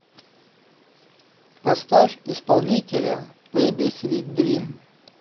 поставь исполнителя бэйби свит дрим